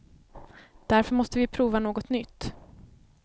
Därför måste vi prova något nytt.